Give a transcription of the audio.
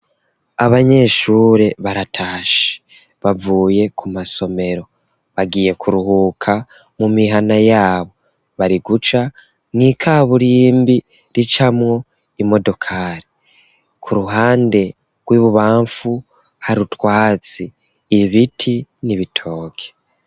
Abanyeshure baratashe, bavuye ku masomero, bagiye kuruhuka mu mihana yabo, bari guca mw'ikaburimbi ricamwo imodokari, ku ruhande rw'ibubamfu hari utwatsi, ibiti n'ibitoke.